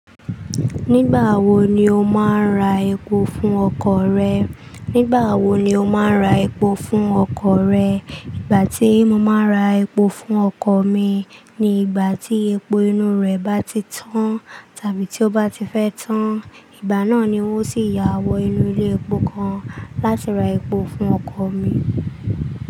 Nígbàwo ni o má a ń ra epo fún ọkọ̀ rẹ? Nígbà tí mo má a ra epo fún ọkọ̀ mi ni ìgbà tí epo inú rẹ̀ bá ti tán tàbí tí ó bá ti fẹ́ tán. Ìgbà náà ni n ó sì yà wọ ilé epo kan láti ra epo fún ọkọ̀ mi.